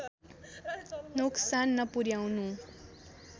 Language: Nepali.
नोक्सान नपुर्‍याउनु